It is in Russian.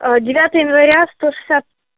девятое января сто шестьдесят